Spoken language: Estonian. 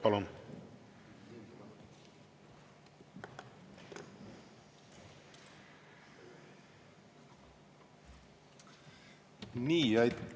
Palun!